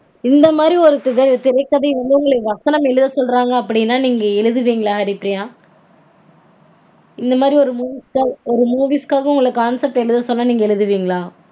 இந்த மாதிரி ஒரு திரைக்கதை வந்து உங்கள வசனம் எழுத சொன்னாங்க அப்டீனா நீங்க எழுதுவீங்களா ஹரிப்பிரியா? இந்த மாதிரி ஒரு movies ஒரு movies க்காக உங்கள concept எழுத சொன்னா நீங்க எழுதுவீங்களா?